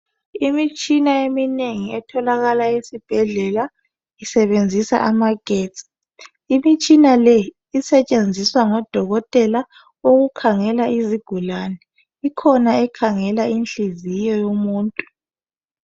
Imitshina eminengi etholakala ezibhedlela isebenzisa amagetsi imitshina leyi isetshenziswa ngodokotela ukukhangela izigulane ikhona ekhangela inhliziyo yomuntu